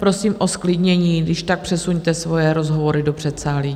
Prosím o zklidnění, když tak přesuňte svoje rozhovory do předsálí.